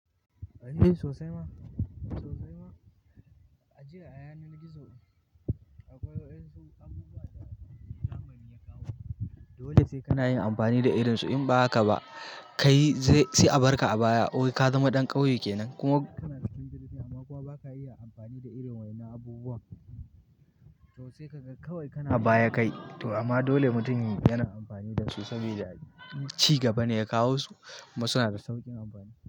A yi sosai ma, sosai ma. Ajiya a yanar gizo akwai wasu abubuwa da zamani ya kawo. Dole sai kana yin amfani da irin su. In ba haka ba, kai sai a barka a baya wai ka zama ɗan ƙauye kenan. Kuma kana cikin girki amma kuwa ba ka iya amfani da irin wannan abubuwan sosai ka ga kawai kana a baya kai. To amma dole mutum yana amfani da su saboda cigaba ne ya kawo su kuma suna da sauƙin amfani.